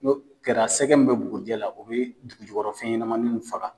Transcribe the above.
N'o kɛra sɛgɛ min bɛ bugurijɛ la o bɛ dugujukɔrɔ fɛnɲanamaninw faga.